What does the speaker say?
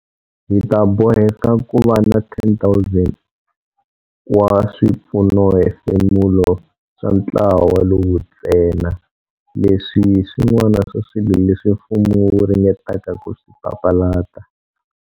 Hi ta boheka ku va na 10 000 wa swipfunohefemulo swa ntlawa lowu ntsena. Leswi hi swin'wana swa swilo leswi mfumo wu ringetaka ku swi papalata.